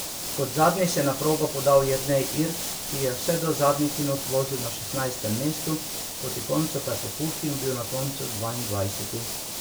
Kot zadnji se je na progo podal Jernej Irt, ki je vse do zadnjih minut vozil na šestnajstem mestu, proti koncu pa popustil in bil na koncu dvaindvajseti.